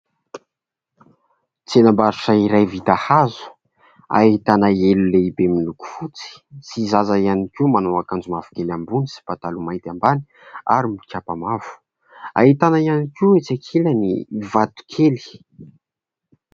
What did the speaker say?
Tsenam-barotra iray vita hazo, ahitana elo lehibe miloko fotsy sy zaza ihany koa manao akanjo mavokely ambony sy pataloha mainty ambany ary mikapa mavo, ahitana ihany koa etsy ankilany vato kely.